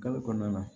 Gafe kɔnɔna na